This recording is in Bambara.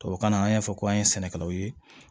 Tubabukan na an y'a fɔ ko an ye sɛnɛkɛlaw ye